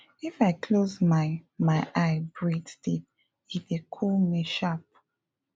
if i close my my eye breathe deep e dey cool me sharp